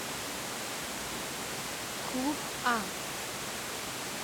клуб а